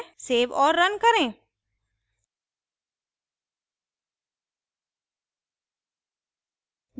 save और run करें